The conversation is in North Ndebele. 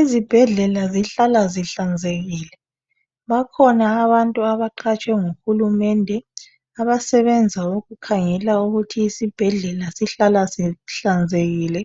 Izibhedlela zihlala zihlanzekile. Bakhona abantu abaqatshwe nguhurumende abasebenza ukukhangela ukuthi isibhedlela sihlala sihlanzekile,